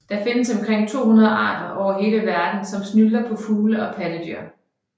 Der findes omkring 200 arter over hele verden som snylter på fugle og pattedyr